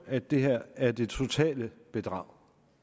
at det her er det totale bedrag